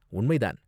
உண்மை தான்.